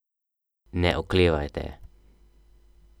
Ne oklevajte.